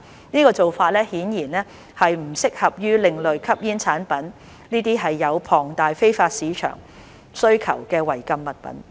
這做法顯然不適合用於另類吸煙產品這些有龐大非法市場需求的違禁物品。